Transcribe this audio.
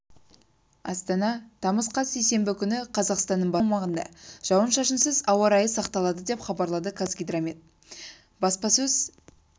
астана тамыз қаз сейсенбі күні қазақстанның басым аумағында жауын-шашынсыз ауа райы сақталады деп хабарлады қазгидромет баспасөз